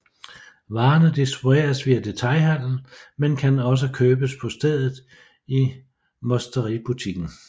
Varerne distribueres via detailhandelen men kan også købes på stedet i Musteributiken